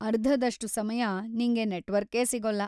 ಅರ್ಧದಷ್ಟು ಸಮಯ, ನಿಂಗೆ ನೆಟ್‌ವರ್ಕೇ ಸಿಗೋಲ್ಲ.